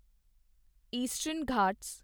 eastern Ghat